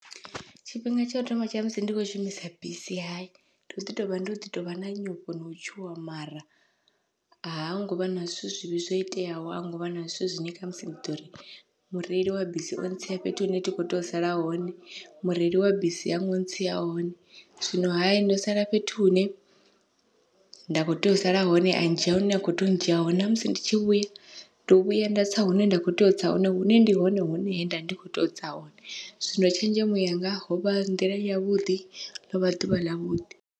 Tshifhinga tsha u thoma tsha musi ndi kho shumisa bisi hayi ndo ḓi tovha ndo ḓi tovha na nyofho no tshuwa, mara ha ngovha na zwithu zwivhi zwoiteaho a hu ngovha na zwithu zwine khamusi ndi ḓori mureili wa bisi o ntsia fhethu hune thi kho tea u sala hone, mureili wa bisi hango ntsia hone zwino hayi ndo sala fhethu hune nda kho tea u sala hone a dzhia hune a kho tea udzhia hone, namusi ndi tshi vhuya ndo vhuya nda tsa hune nda kho tea u tsa hone hune ndi hone hune he nda ndi kho tea utsa hone zwino tshenzhemo yanga hovha nḓila yavhuḓi ḽovha ḓuvha ḽavhuḓi.